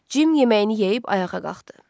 Cim yeməyini yeyib ayağa qalxdı.